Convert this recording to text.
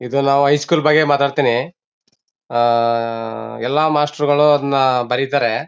ಇದು ನಾವು ಹೈಸ್ಕೂಲ್ ಬಗ್ಗೆ ಮಾತಾಡ್ತೀನಿ ಆಆ ಎಲ್ಲಾ ಮಾಸ್ಟರ್ ಗಳು ಅದನ್ನ ಬರೀತಾರೆ.